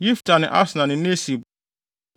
Yifta ne Asna ne Nesib,